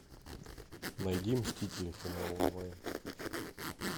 найди мстители финал онлайн